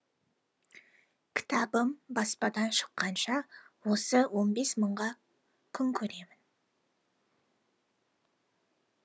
кітабым баспадан шыққанша осы он бес мыңға күн көремін